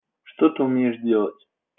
что ты умеешь делать